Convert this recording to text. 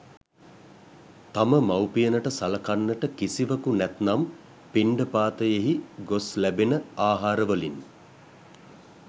තම මවුපියනට සලකන්නට කිසිවකු නැත්නම් පිණ්ඩපාතයෙහි ගොස් ලැබෙන ආහාරවලින්